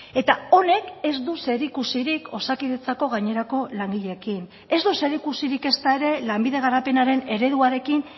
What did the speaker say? eta honek ez du zerikusirik osakidetzako gainerako langileekin ez du zerikusirik ezta ere lanbide garapenaren ereduarekin